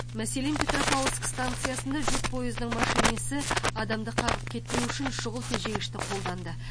мәселен петропавлск станциясында жүк пойызының машинисі адамды қағып кетпеу үшін шұғыл тежегішті қолданды